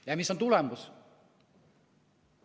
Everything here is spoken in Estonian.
Ja mis on tulemus?